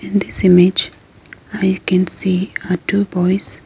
and this image i can see a two boys